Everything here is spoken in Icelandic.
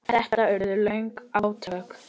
Þetta urðu löng átök.